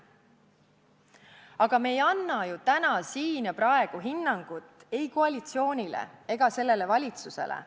Aga me ei anna ju täna siin hinnangut ei koalitsioonile ega sellele valitsusele.